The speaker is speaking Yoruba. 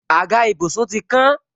Àga ìbùsùn ti kán